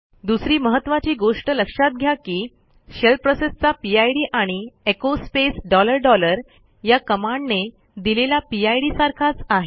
दुसरी महत्त्वाची गोष्ट लक्षात घ्या की शेल प्रोसेसचा पिड आणि एचो स्पेस डॉलर डॉलर या कमांडने दिलेला पिड सारखाच आहे